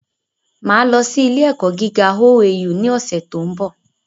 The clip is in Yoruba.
Máà lọ sí ilé ẹ̀kọ́ gíga OAU ní ọ̀sẹ̀ tó ń bò